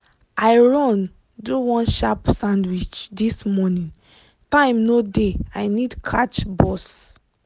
i run do one sharp sandwich this morning time no dey i need catch bus.